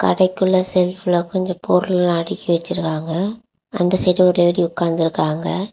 கடைக்குள்ள ஷேல்ப்ல கொன்ஜோ பொருள்ளெல்லா அடிக்கி வச்சிருக்காங்க அந்த சைடு ஒரு லேடி உக்காந்திருக்காங்க.